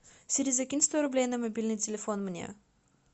сири закинь сто рублей на мобильный телефон мне